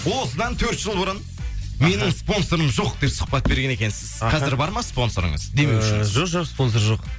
осыдан төрт жыл бұрын менің спонсорым жоқ деп сұхбат берген екенсіз қазір бар ма спонсорыңыз демеушіңіз ы жоқ жоқ спонсор жоқ